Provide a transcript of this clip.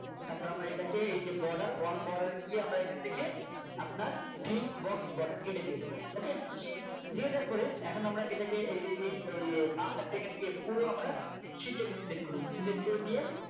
তারপর আমরা এটাকে এই যে Border all Border এ গিয়ে আমরা এখান থেকে আপনার free box border এটা দিয়ে দেব ok দিয়ে দেওয়ার পরে এখন আমরা এটাকে এই যে এই বাঁ পাশে এখানে গিয়ে এখানে পুরো আমরা sit টাকে Select করলাম Select করে নিয়ে